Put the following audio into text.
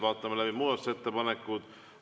Vaatame läbi muudatusettepanekud.